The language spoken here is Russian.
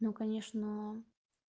ну конечно